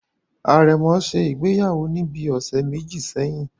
Àrẹ̀mọ ṣe ìgbéyàwó ní bíi ọ̀sẹ̀ méjì sẹ́yìn